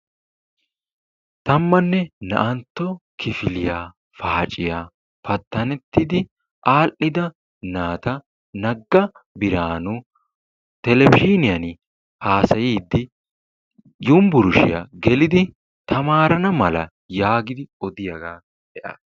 Tammanne naa'antto kifiliyaa paaciya pattanettidi aadhdhida naata Nagga Biraanu televizhiyaani haasayiiddi yunburushiyaa gelidi tamaarana mala yaagidi odiyaagaa be'aas.